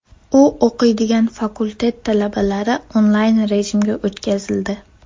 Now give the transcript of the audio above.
U o‘qiydigan fakultet talabalari onlayn rejimga o‘tkazildi.